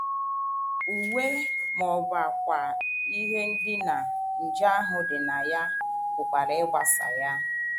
Uwe ma ọ bụ ákwà ihe ndina nje ahụ dị na ya pụkwara ịgbasa ya.